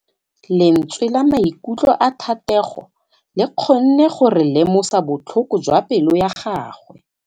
Lentswe la maikutlo a Thategô le kgonne gore re lemosa botlhoko jwa pelô ya gagwe.